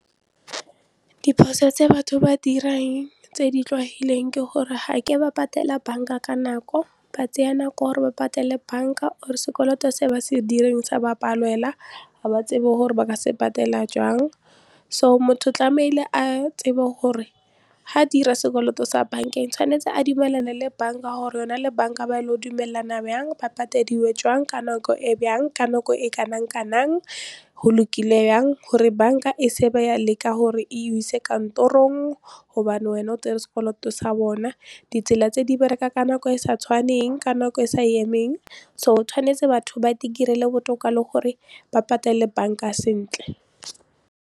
Diphoso tse batho ba dirang tse di tlwaelegileng ke gore ganke ba patela bank-a ka nako ba tseya nako gore ba patele bank-a or sekoloto se ba se direng sa ba palela ga ba tsebe gore ba ka se patela jang so motho tlamehile a tsebe gore ha dira sekoloto sa bank-eng tshwanetse a dumelane le bank-a gore yona le bank-a ba dumalana byang ba pateleditswe jwang ka nako e jang ka nako e kanang kanang go lokile yang gore bank-a e se ba ya leka gore e o ise kantorong gobane wena o tsere sekoloto sa bona ditsela tse di bereka ka nako e sa tshwaneng ka nako e sa emeng so tshwanetse batho ba botoka le gore ba patele bank-a sentle.